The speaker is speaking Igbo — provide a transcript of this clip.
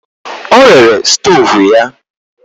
Ọ rere stoovu ya?